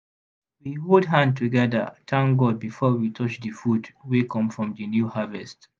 we hold hand together thank god before we touch the food wey come from the new harvest.